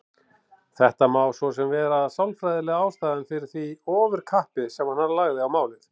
Þetta má svo sem vera sálfræðilega ástæðan fyrir því ofurkappi sem hann lagði á málið.